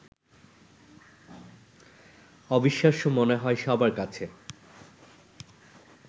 অবিশ্বাস্য মনে হয় সবার কাছে